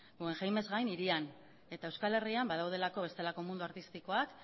guggenheimez gain hirian eta euskal herrian badaudelako bestelako mundu artistikoak